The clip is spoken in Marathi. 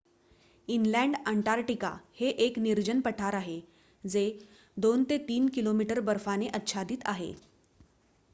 इनलँड अंटार्क्टिका हे एक निर्जन पठार आहे जे 2-3 km बर्फाने आच्छादित आहे